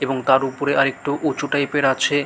এবং তার উপরে আর একটু উঁচু টাইপ এর আছে।